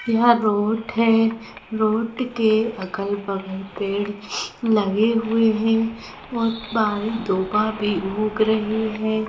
यहाँ रोड है रोड के अगल-बगल पेड़ लगे हुए हैं और बाहरी दूबा भी उग रही है।